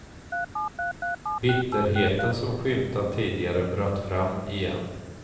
Bitterheten som skymtat tidigare bröt fram igen.